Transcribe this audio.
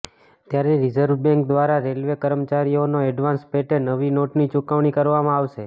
ત્યારે રિઝર્વબેન્ક દ્વારા રેલવે કર્મચારીઓને એડવાન્સ પેેટે નવી નોટની ચુકવણી કરવામાં આવશે